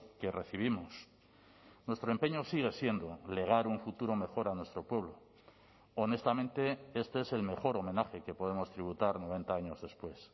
que recibimos nuestro empeño sigue siendo legar un futuro mejor a nuestro pueblo honestamente este es el mejor homenaje que podemos tributar noventa años después